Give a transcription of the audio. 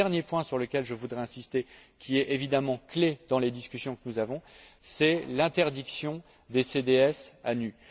Le dernier point sur lequel je voudrais insister, qui est évidemment clé dans les discussions que nous avons, c'est l'interdiction des CDS à nu.